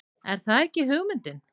Er það ekki hugmyndin?